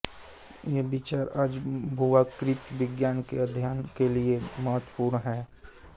ये विचार आज भूआकृति विज्ञान के अध्ययन के लिए महत्वपूर्ण हैं